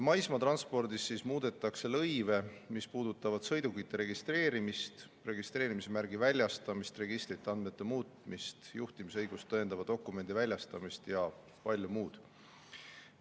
Maismaatranspordis muudetakse lõive, mis puudutavad sõidukite registreerimist, registreerimismärgi väljastamist, registrite andmete muutmist, juhtimisõigust tõendava dokumendi väljastamist ja palju muud.